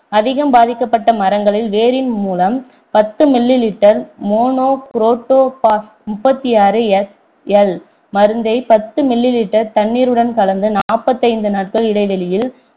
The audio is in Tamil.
அதிகம் பாதிக்கப்பட்ட மரங்களில் வேரின் மூலம் பத்து mililiter மோனோகுரோட்டோபாஸ் முப்பத்தி ஆறு SL மருந்தை பத்து mililiter தண்ணீருடன் கலந்து நாற்பத்தைந்து நாட்கள் இடைவெளியில்